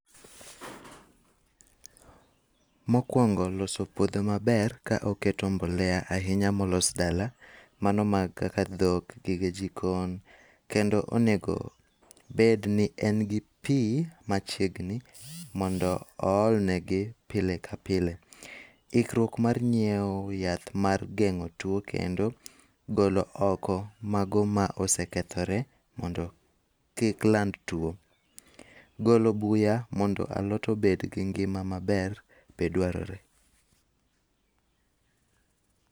Mokuongo loso puodho maber ka oketo mbolea ahinya molos dala, mano ma kaka dhok, gige jikon. Kendo onego obedni en gi pi machiegni mondo ool negi pile ka pile. Ikruok mar nyiewo yath mar geng'o tuo kendo golo oko mago ma osekethore mondo kik land tuo. Golo buya mondo alot obed gi ngima maber, be dwarore.